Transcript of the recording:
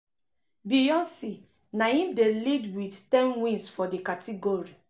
beyoncé na im dey lead wit ten wins for di category.